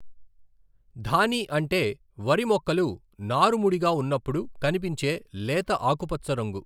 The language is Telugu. ధానీ అంటే వరి మెుక్కలు నారు ముడిగా ఉన్నప్పుడు కనిపించే లేత ఆకుపచ్చ రంగు.